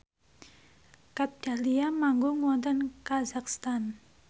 Kat Dahlia manggung wonten kazakhstan